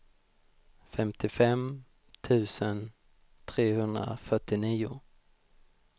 femtiofem tusen trehundrafyrtionio